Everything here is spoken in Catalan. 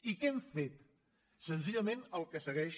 i què hem fet senzillament el que segueix